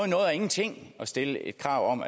noget og ingenting at stille et krav om